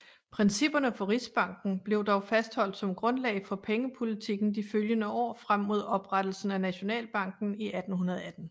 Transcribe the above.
Principperne for rigsbanken blev dog fastholdt som grundlag for pengepolitiken de følgende år frem mod oprettelsen af Nationalbanken i 1818